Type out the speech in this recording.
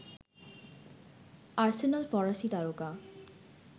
Arsenal ফরাসী তারকা